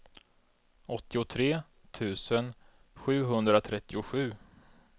åttiotre tusen sjuhundratrettiosju